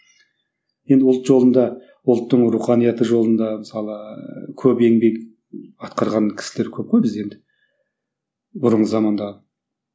енді ұлт жолында ұлттың руханияты жолында мысалы көп еңбек атқарған кісілер көп қой бізде енді бұрынғы заманда